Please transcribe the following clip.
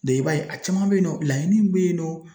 i b'a ye a caman bɛ yen nɔ laɲini min bɛ yen nɔ.